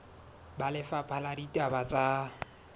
ba lefapha la ditaba tsa